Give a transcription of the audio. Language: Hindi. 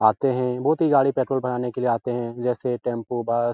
आते है बोहोत ही गाड़ी पेट्रोल भराने के लिए आते है जैसे टेंपू बस --